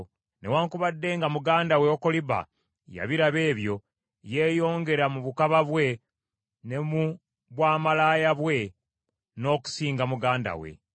“Newaakubadde nga muganda we Okoliba, yabiraba ebyo, yeeyongera mu bukaba bwe ne mu bwamalaaya bwe n’okusinga muganda we.